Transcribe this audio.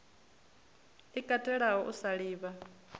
i katelaho u sa livha